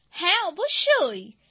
সমবেত কণ্ঠে হ্যাঁ অবশ্যই